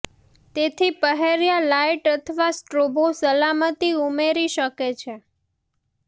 તેથી પહેર્યા લાઇટ અથવા સ્ટ્રોબો સલામતી ઉમેરી શકે છે